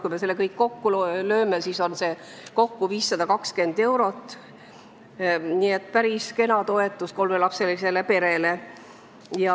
Kui me selle kõik kokku lööme, siis saame kokku 520 eurot, nii et päris kena toetus kolmelapselisele perele.